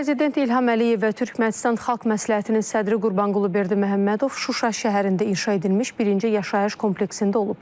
Prezident İlham Əliyev və Türkmənistan Xalq Məsləhətinin sədri Qurbanqulu Berdiməhəmmədov Şuşa şəhərində inşa edilmiş birinci yaşayış kompleksində olublar.